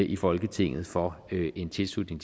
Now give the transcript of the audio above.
i folketinget for en tilslutning